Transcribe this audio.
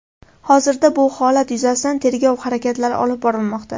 Hozirda bu holat yuzasidan tergov harakatlari olib borilmoqda.